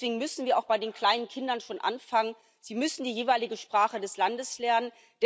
Deswegen müssen wir auch bei den kleinen Kindern schon anfangen. Sie müssen die jeweilige Sprache des Landes lernen.